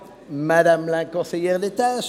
Kommissionssprecher